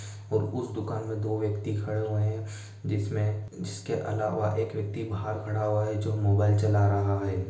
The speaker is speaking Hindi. और उस दुकान में दो व्यक्ति खड़े हुए है जिसमे जिसके अलावा एक व्यक्ति बाहर खड़ा हुआ है जो मोबाइल चला रहा है।